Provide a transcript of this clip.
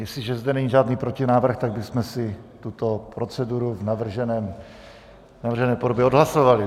Jestliže zde není žádný protinávrh, tak bychom si tuto proceduru v navržené podobě odhlasovali.